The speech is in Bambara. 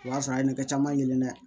O y'a sɔrɔ a ye nin ne kɛ caman yelen dɛ